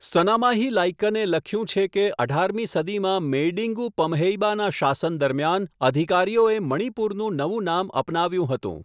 સનામાહી લાઈકને લખ્યું છે કે અઢારમી સદીમાં મેઈડિંગુ પમહેઇબાના શાસન દરમિયાન અધિકારીઓએ મણિપુરનું નવું નામ અપનાવ્યું હતું.